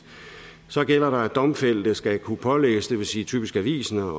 så gælder der at domfældte selv skal kunne pålægges det vil sige typisk avisen at